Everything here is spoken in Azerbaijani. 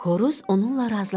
Xoruz onunla razılaşmadı.